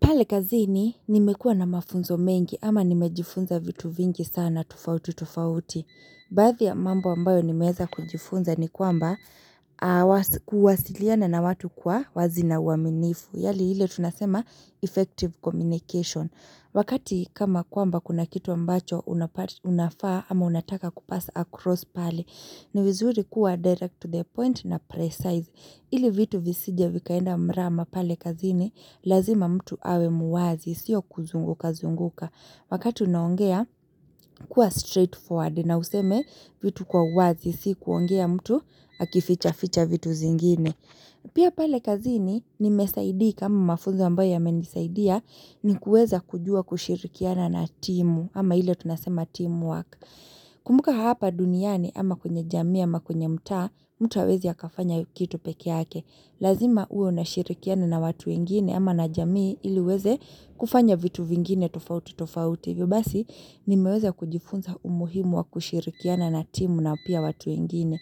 Pale kazini nimekua na mafunzo mengi ama nimejifunza vitu vingi sana tufauti tufauti. Baadhi ya mambo ambayo nimeeza kujifunza ni kwamba kuwasiliana na watu kwa wazi na uaminifu. Yali ile tunasema effective communication. Wakati kama kwamba kuna kitu ambacho unafaa ama unataka kupass across pale. Ni vizuri kuwa direct to the point na precise. Ili vitu visije vikaenda mrama pale kazini, lazima mtu awe muwazi, sio kuzunguka zunguka. Wakati unaongea, kuwa straightforward na useme vitu kwa uwazi, si kuongea mtu, akifichaficha vitu zingine. Pia pale kazini, nimesaidika ama mafunzo ambayo yamenisaidia, ni kuweza kujua kushirikiana na timu, ama ile tunasema teamwork. Kumbuka hapa duniani ama kwenye jamii ama kwenye mtaa, mtu hawezi akafanya kitu pekee yake. Lazima uwe unashirikiana na watu wengine ama na jamii ili uweze kufanya vitu vingine tofauti tofauti. Hivyo basi nimeweze kujifunza umuhimu wa kushirikiana na timu na pia watu wengine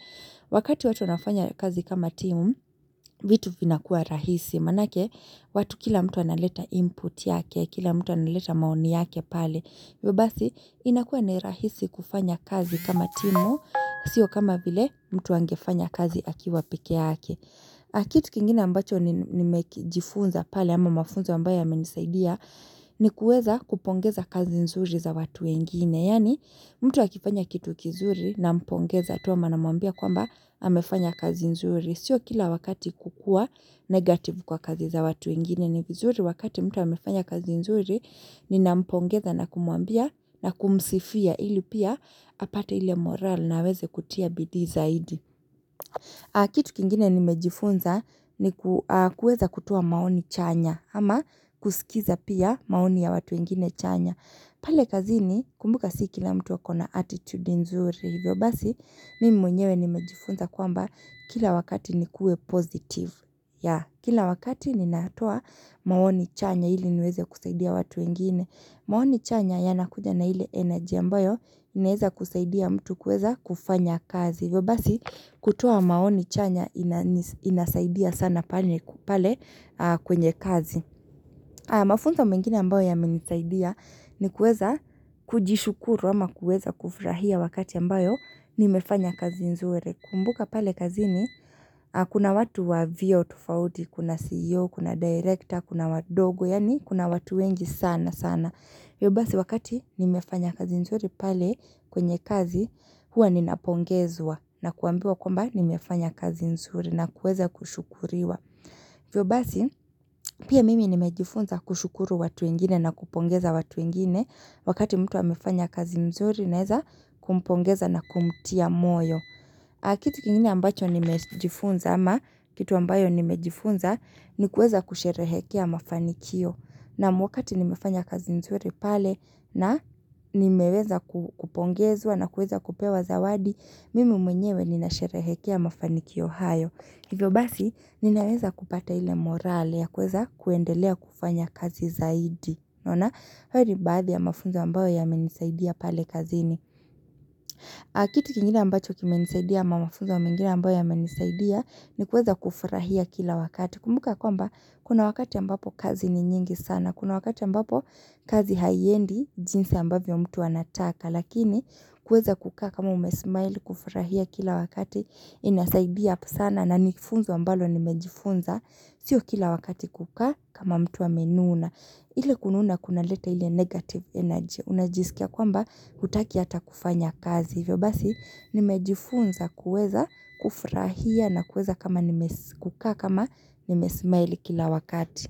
Wakati watu wanafanya kazi kama timu, vitu vinakuwa rahisi manake watu kila mtu analeta input yake kila mtu analeta maoni yake pale hivyo basi, inakua ni rahisi kufanya kazi kama timu, sio kama vile mtu angefanya kazi akiwa pekee yake na kitu kingine ambacho nimekijifunza pale ama mafunza ambayo yamenisaidia, ni kuweza kupongeza kazi nzuri za watu wengine. Yani, mtu akifanya kitu kizuri nampongeza tu ama namwambia kwamba amefanya kazi nzuri. Sio kila wakati kukua negative kwa kazi za watu wengine ni vizuri wakati mtu amefanya kazi nzuri ninampongeza na kumuambia na kumsifia ili pia apate ile morale na aweze kutia bidii zaidi. Kitu kingine nimejifunza ni kuweza kutoa maoni chanya ama kusikiza pia maoni ya watu wengine chanya. Pale kazini kumbuka si kila mtu akona attitude nzuri hivyo basi, mimi mwenyewe nimejifunza kwamba kila wakati nikuwe positive ya, kila wakati ninaatoa maoni chanya ili niweze kusaidia watu wengine. Maoni chanya yanakuja na ile energy ambayo neeza kusaidia mtu kuweza kufanya kazi vyo basi, kutoa maoni chanya inani inasaidia sana pale kwenye kazi. Haya mafunzo mwingine ambayo yamenisaidia ni kuweza kujishukuru ama kuweza kufurahia wakati ambayo nimefanya kazi nzuri. Kumbuka pale kazini kuna watu wa vyeo tufauti, kuna CEO, kuna director, kuna wadogo, yani kuna watu wengi sana sana. Hivyo basi wakati nimefanya kazi mzuri pale kwenye kazi huwa ninapongezwa na kuambiwa kwamba nimefanya kazi mzuri na kuweeza kushukuriwa. Vyobasi pia mimi nimejifunza kushukuru watu wengine na kupongeza watu wengine wakati mtu amefanya kazi mzuri naeza kumpongeza na kumtia moyo. Aa kitu kingine ambacho nimejifunza ama kitu ambayo nimejifunza ni kuweza kusherehekea mafanikio. Naam, wakati nimefanya kazi nzuri pale na nimeweza kupongezwa na kuweza kupewa zawadi, mimi mwenyewe ninasherehekea mafanikio hayo. Hivyo basi ninaweza kupata ile morale ya kuweza kuendelea kufanya kazi zaidi unaona hayo ni baadhi ya mafunza ambayo yamenisaidia pale kazini. Aa kitu kingine ambacho kimenisaidia ama mafunzo mengine ambayo yamenisaidia ni kuweza kufurahia kila wakati. Kumbuka ya kwamba kuna wakati ambapo kazi ni nyingi sana. Kuna wakati ambapo kazi haiendi jinsi ambavyo mtu anataka. Lakini kuweza kukaa kama umesmile kufurahia kila wakati inasaidia up sana na nifunzo ambalo nimejifunza. Sio kila wakati kukaa kama mtu amenuna. Ile kununa kunaleta ili negative energy. Unajisikia kwamba hutaki hata kufanya kazi vyo basi nimejifunza kuweza kufurahia na kuweza kama nimes kukaa kama nimesmile kila wakati.